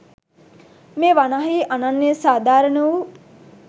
මේ වනාහි අනන්‍ය සාධාරණ වූ